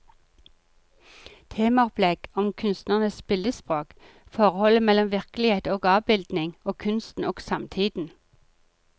Temaopplegg om kunstnernes billedspråk, forholdet mellom virkelighet og avbildning og kunsten og samtiden.